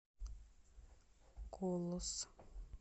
колос